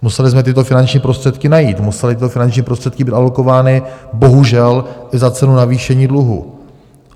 Museli jsme tyto finanční prostředky najít, musely tyto finanční prostředky být alokovány bohužel i za cenu navýšení dluhu.